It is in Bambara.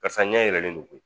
Karisa ɲa yɛlɛlen don koyi